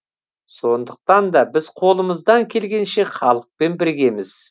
сондықтан да біз қолымыздан келгенше халықпен біргеміз